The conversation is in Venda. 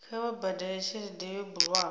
kha vha badele tshelede yo bulwaho